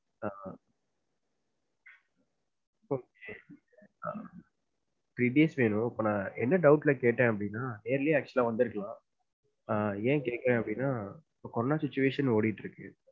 ஆஹ் okay ah three days வேணும், இப்ப நான் என்ன doubt ல கேட்டேன் அப்டினா early யா actually வந்துருக்கலாம். ஏன் கேக்குறேன் அப்டினா இப்ப corona sitruation ஓடிட்டு இருக்கு.